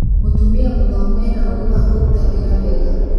Mũtumia mũthomu ena ũgĩ wa kũruta wĩra wega